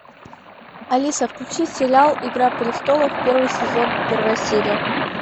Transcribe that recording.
алиса включи сериал игра престолов первый сезон первая серия